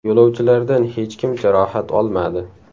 Yo‘lovchilardan hech kim jarohat olmadi.